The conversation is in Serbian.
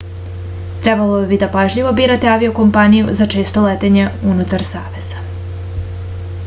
trebalo bi da pažljivo birate avio-kompaniju za često letenje unutar saveza